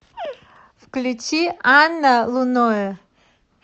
включи анна луноэ